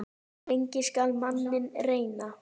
Lengi skal manninn reyna.